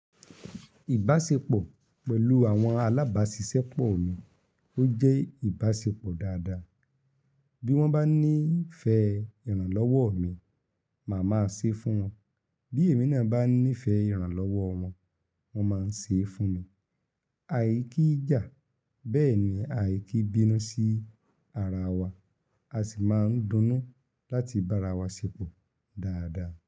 Ìbáṣepọ̀ pẹ̀lú àwọn alábáṣiṣẹ́ pọ̀ mi ó jẹ́ ìbáṣepọ̀ dáadáa. Bí wọ́n bá ní ìfẹ́ ìrànlọ́wọ́ mi, màá ma ṣe é fún wọn. Bí èmi náà bá ní ìfẹ́ ìrànlọ́wọ́ wọn, wọ́n máa ń ṣe é fún mi. Àìkí ìjà, bẹ́ẹ̀ ni àìkí bínú sí ara wa, a sì máa ń dunnú láti bá ara wa ṣepọ̀ dáadáa.